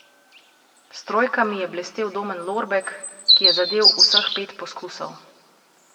S trojkami je blestel Domen Lorbek, ki je zadel vseh pet poskusov.